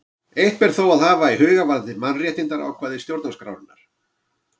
Eitt ber þó að hafa í huga varðandi mannréttindaákvæði stjórnarskrárinnar.